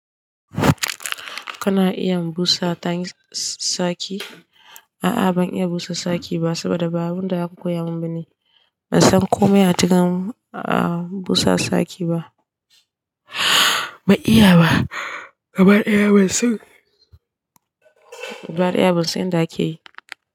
Kana iya busa saki? A'a ban iya busa saki ba saboda babu wanda ya koya mun ba ne. Na san komai a cikin busa saki ba. Ba iya ba. Gabaɗaya ban san inda ake yi.